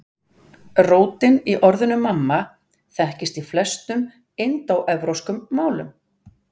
Rótin í orðinu mamma þekkist í flestum indóevrópskum málum.